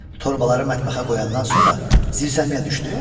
Torbaları mətbəxə qoyandan sonra zirzəmiyə düşdü.